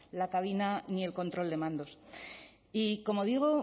la cabina ni el control de mandos y como digo